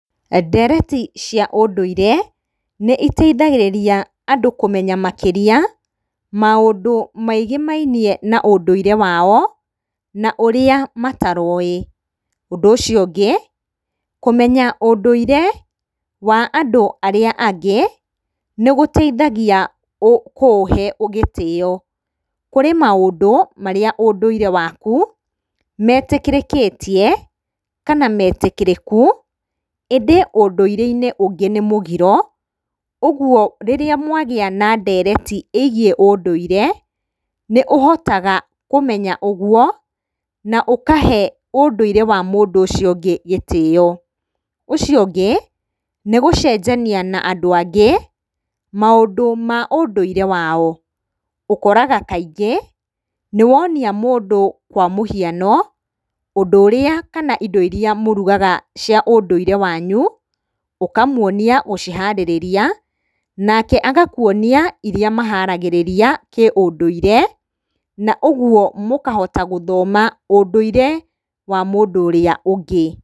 Ndereti cia ũndũire nĩiteithagĩrĩa andũ kũmenya makĩria maũndũ megemainie na ũndũire wao, na ũrĩa matarowĩ. Ũndũ ũcio ũngĩ, kũmenya ũndũire wa andũ arĩa angĩ nĩgũteithagia kũũhe gĩtĩyo. Kũrĩ maũndũ marĩa ũndũire waku metĩkĩrĩkĩtie, kana metĩkĩrĩku, ĩndĩ ũndũire-inĩ ũngĩ nĩ mũgiro, ũguo rĩrĩa mwagĩa na ndereti ĩgiĩ ũndũire, nĩũhotaga kũmenya ũguo na ũkahe ũndũire wa mũndũ ũcio ũngĩ gĩtĩyo. Ũcio ũngĩ, nĩgũcenjania na andũ angĩ maũndũ ma ũndũire wao. Ũkoraga rĩngĩ, nĩwonia mũndũ kwa mũhiano ũndũ ũrĩa kana irio iria mũrugaga cia ũndũire wanyu, ũkamuonia ũrĩa mũharagĩrĩria, nake agakuonia ũrĩa maharagĩrĩria kĩũndũire, na ũguo mũkahota gũthoma ũndũire wa mũndũ ũrĩa ũngĩ.